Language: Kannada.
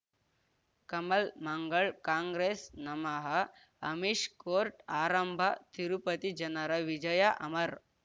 ಕಮಲ್ ಮಂಗಳ್ ಕಾಂಗ್ರೆಸ್ ನಮಃ ಅಮಿಷ್ ಕೋರ್ಟ್ ಆರಂಭ ತಿರುಪತಿ ಜನರ ವಿಜಯ ಅಮರ್